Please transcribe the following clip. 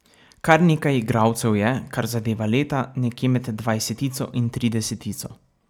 Kar nekaj igralcev je, kar zadeva leta, nekje med dvajsetico in tridesetico.